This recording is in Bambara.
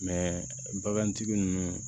bagantigi ninnu